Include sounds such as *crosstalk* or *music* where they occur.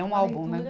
É um álbum, né? *unintelligible*